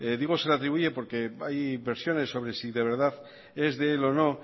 digo se le atribuye porque hay versiones sobre si de verdad es de él o no